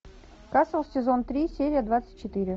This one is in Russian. касл сезон три серия двадцать четыре